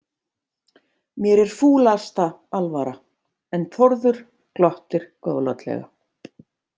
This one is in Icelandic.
Mér er fúlasta alvara en Þórður glottir góðlátlega.